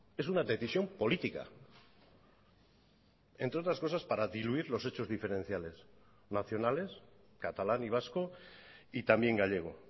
es una decisión política entre otras cosas para diluir los hechos diferenciales nacionales catalán y vasco y también gallego